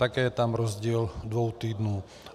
Také je tam rozdíl dvou týdnů.